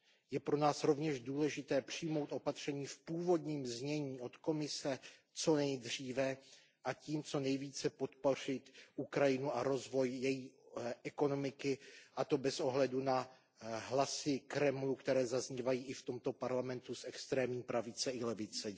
Je pro nás rovněž důležité přijmout opatření s původním zněním od Komise co nejdříve, a tím co nejvíce podpořit Ukrajinu a rozvoj její ekonomiky, a to bez ohledu na hlasy Kremlu, které zaznívají i v tomto Parlamentu z extrémní pravice i levice.